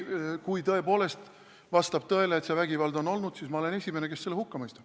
Kui vastab tõele, et see vägivald on olnud, siis ma olen esimene, kes selle hukka mõistab.